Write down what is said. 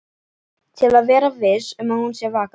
Til að vera viss um að hún sé vakandi.